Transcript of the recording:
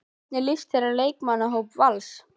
Hvernig líst þér á leikmannahóp Vals?